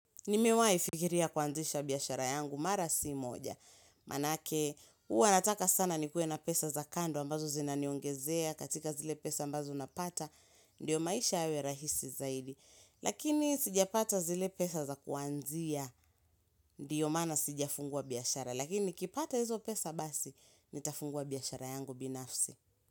Nimewai fikiria kuanzisha biashara yangu mara si moja. Manake, huwa nataka sana nikue na pesa za kando ambazo zinaniongezea katika zile pesa ambazo napata, ndiyo maisha yawe rahisi zaidi. Lakini sijapata zile pesa za kuanzia, ndiyo maana sijafungua biashara. Lakini nikipata hizo pesa basi, nitafungua biashara yangu binafsi.